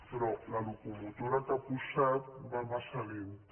però la locomotora que ha posat va massa lenta